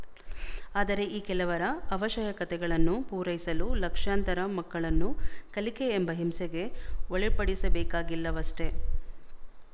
ಆದರೆ ಈ ಕೆಲವರ ಆವಶಯಕತೆಗಳನ್ನು ಪೂರೈಸಲು ಲಕ್ಷಾಂತರ ಮಕ್ಕಳನ್ನು ಕಲಿಕೆ ಎಂಬ ಹಿಂಸೆಗೆ ಒಳಪಡಿಸಬೇಕಾಗಿಲ್ಲವಷ್ಟೇ